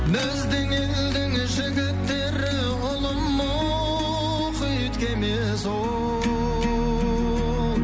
біздің елдің жігіттері ұлы мұхит кемесі ол